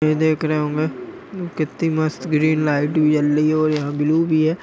ये देख रहे होंगे कितनी मस्त ग्रीन लाइट भी जल रही है और यहाँ ब्लू भी है।